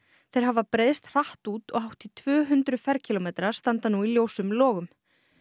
þeir hafa breiðst hratt út og hátt í tvö hundruð ferkílómetrar standa nú í ljósum logum